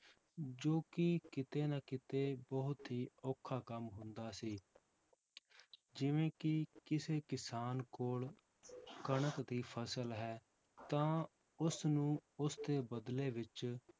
ਜੋ ਕਿ ਕਿਤੇ ਨਾ ਕਿਤੇ ਬਹੁਤ ਹੀ ਔਖਾ ਕੰਮ ਹੁੰਦਾ ਸੀ ਜਿਵੇਂ ਕਿ ਕਿਸੇ ਕਿਸਾਨ ਕੋਲ ਕਣਕ ਦੀ ਫਸਲ ਹੈ ਤਾਂ ਉਸਨੂੰ ਉਸ ਦੇ ਬਦਲੇ ਵਿੱਚ